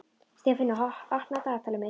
Sefanía, opnaðu dagatalið mitt.